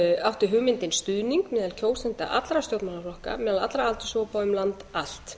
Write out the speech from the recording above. átti hugmyndin stuðning meðal kjósenda allra stjórnmálaflokka meðal allra aldurshópa og um land allt